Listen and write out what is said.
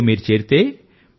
వాటిలో మీరు చేరితే